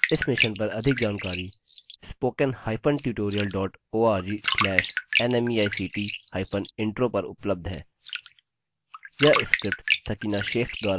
इस मिशन पर अधिक जानकारी spoken hyphen tutorial dot org slash nmeict hyphen intro पर उपलब्ध है